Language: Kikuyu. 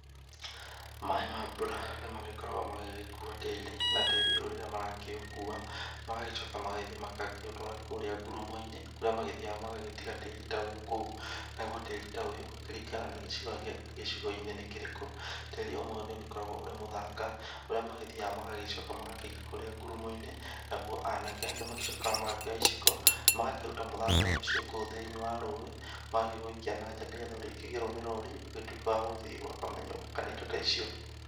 Maĩ ma mbura nĩ magĩkoragwo magĩgĩkuua tĩĩri, na tĩĩri ũyũ rĩrĩa marakĩũkua magagĩtuĩka magagĩthi magakĩũtwara kũrĩa ngurumo-inĩ ,kũrĩa mathiaga magagĩtiga tĩĩri ta ũyũ kũu. Naguo tĩĩri ta ũyũ, kũringanaga gĩcigo-inĩ nĩ kĩrĩkũ. Tĩĩri ũmwe nĩ ũgĩkoragwo ũrĩ mũthanga ,ũrĩa magĩthiaga magagĩcoka magakĩiga kũrĩa nguro-inĩ, naguo anake nĩ magĩcokaga magakĩoya iciko magakĩruta muthanga ũcio kũu thĩini wa rũĩ ,magakĩwĩikia na njaa nĩ getha urĩkĩgĩrwo nĩ rori ũgĩtũĩke wa gũgĩthi gwaka manyũmba kana indo ta icio.